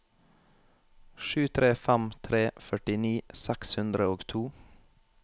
sju tre fem tre førtini seks hundre og to